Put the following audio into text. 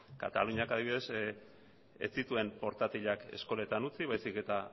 kataluniak adibidez ez zituen portatilak eskoletan utzi baizik eta